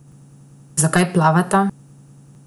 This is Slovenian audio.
Zakaj plavata?